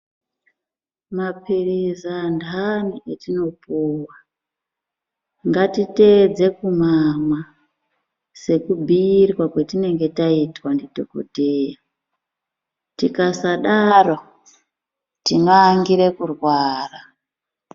Maphilizi antani etinopuwa ,ngatiteedze kumamwa sekubhuirwa kwetinenge taitwa ndidhokodheya. Tikasadaro, tinoangire kurwara.